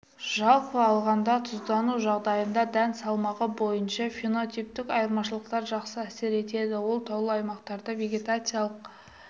жалпы алғанда тұздану жағдайында дән салмағы бойынша фенотиптік айырмашылықтар жақсы әсер етеді ол таулы аймақтарда вегетациялық